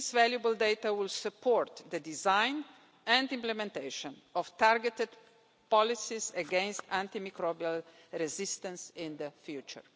This valuable data will support the design and implementation of targeted policies against antimicrobial resistance in the future.